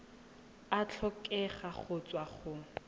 a tlhokega go tswa go